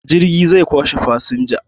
Jirgi zai kwashe fasinjiji